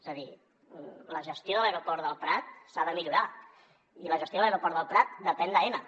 és a dir la gestió de l’aeroport del prat s’ha de millorar i la gestió de l’aeroport del prat depèn d’aena